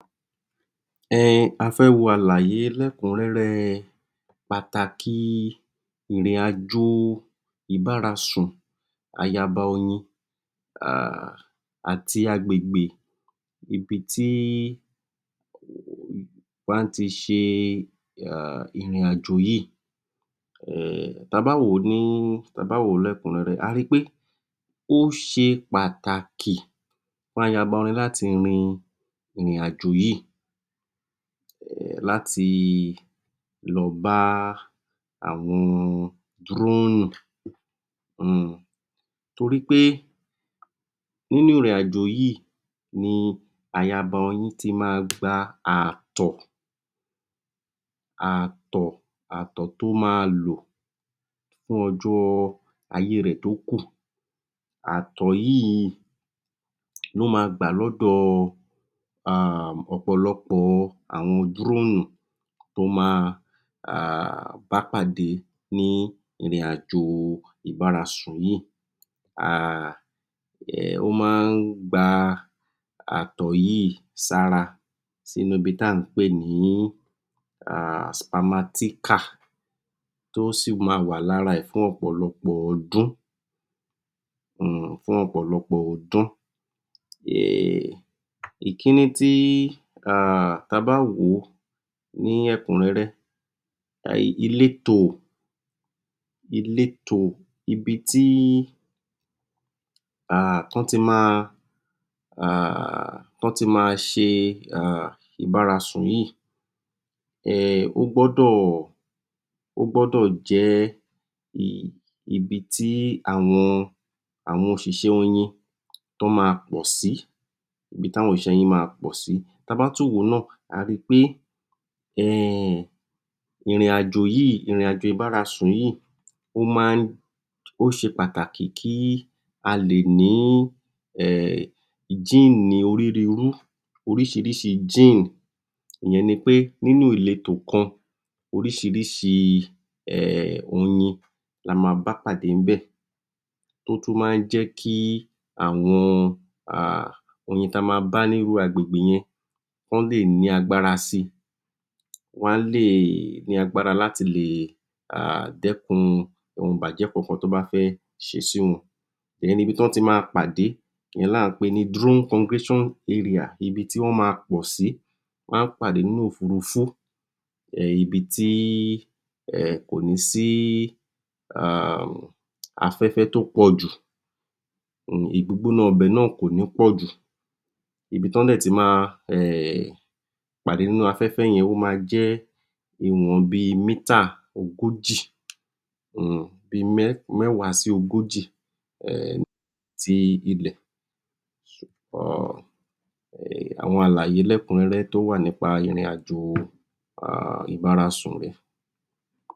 È hìn a fẹ̣́ wo àlàyé lékun rere pàtàkì ìrìnàjò ìbára sun àyà bà oyin àti àgbègbè ibi tí wón ti se ìrìnàjò yìí tá a bá wo ní ẹ̣̀kún rere a rí pé ó se pàtàkì fún àyàbá oyin láti rìn ìrìnàjò yìí láti lọ bá àwọn dúnú torí pé nínú ìrìnàjò yìí ni àyàbá oyin ti máa gba àtọ̣́ tó máa lò fún ọjọ̣́ ayé rẹ tó kù àtọ̣́ yìí ló máa gba lọ̣́dọ̣̀ ọ̣̀pọ̣̀lọpọ̣̀ àwọn drúmù tó máa bá padà ìbásepọ̣̀ yìí ó máa gba àtọ̣́ yìí sí i ra sí inú ibi tí a pé ní spermatheca tí ó sì máa wà ní ara rẹ fún ọ̣̀pọlopọ̀ ọdún ìkànnì tí a bá wo lékun rere ilètò ibi tí a ti wà tí wón ti máa se ìbásepọ̣̀ yìí ò gbọ̣́dọ̣̀ jẹ̣́ ibi tí àwọn òsìsẹ̣́ oyin mà pọ̣́ sí tá a bá tún wo náà a rí pé ìrìnàjò yìí se pàtàkì gan-an òrísìírísìí gin máa bá pàdé ní ilètò kan òrísìírísìí oyin là máa pàdé níbẹ̣̀ tó tún má jẹ̣́ kí àwọn oyin tá a máa bá ní àgbègbè yín kan lè ní àgbàgbà rà sí wá lè ní àgbàgbà láti dékun ohun bàjẹ̣́ kankan tó bá fẹ̣́ sẹlẹ̣̀ sí oun ibi tí wón ti máa pàdé là ń pè ní drọn cọngrẹgatiọn arẹa ibì tí wón máa pọ̣́ sí wá pàdé ní òfurufú ibi tí kò ní sí afẹ̣́fẹ̣́ tó pọ̣̀jù ìgbóná ibẹ̣̀ kò ní pọ̣̀jù ibi tí wón ti máa pàdé nínú afẹ̣́fẹ̣́ yen ma je ìwọ̣̀n bí mẹ̣́tààdilogoji sílẹ̣̀ àwọn àlàyé tó wà lékun rere ní ìrìnàjò ìbásepọ̣̀ yìí